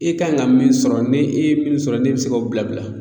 E kanɲi ka min sɔrɔ n'e e ye min sɔrɔ n'e be se k'o bila bila